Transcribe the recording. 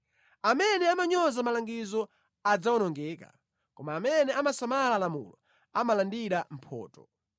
Amene amanyoza malangizo adzawonongeka, koma amene amasamala lamulo amalandira mphotho.